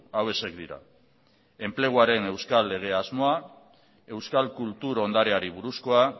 hauexek dira enpleguaren euskal lege asmoa euskal kultur ondareari buruzkoa